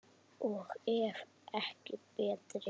Og ef ekki betri!